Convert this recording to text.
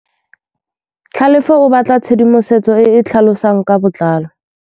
Tlhalefô o batla tshedimosetsô e e tlhalosang ka botlalô.